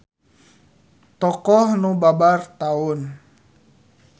Tokoh nu babar taun.